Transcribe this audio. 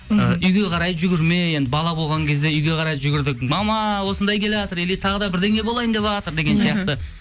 ы үйге қарай жүгірме енді бала болған кезде үйге қарай жүгірдік мама осындай келатыр или тағы да бірдеңе болайын деватыр деген сияқты